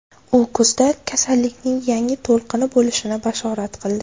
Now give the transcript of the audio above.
U kuzda kasallikning yangi to‘lqini bo‘lishini bashorat qildi .